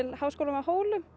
Háskólann á Hólum